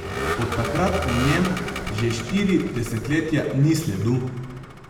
Od takrat o njem že štiri desetletja ni sledu.